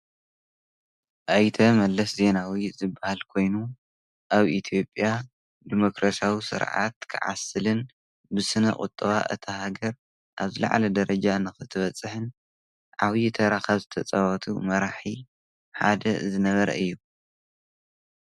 ኣይተ መለስ ዜናዊ ዝባሃል ኮይኑ ኣብ ኢትዮጵያ ድሞክራሲዊ ስርዓት ክዓስልን ብስነ ቁጠባ እታ ሃገር ኣብ ዝላዕለ ደረጃ ንክትበፅሕን ዓብይ ታራ ካብ ዝተፃወቱ መራሒ ሓደ ዝነበረ እዩ።